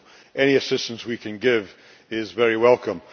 So any assistance we can give is very welcome.